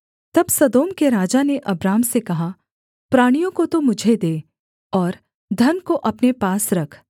तब सदोम के राजा ने अब्राम से कहा प्राणियों को तो मुझे दे और धन को अपने पास रख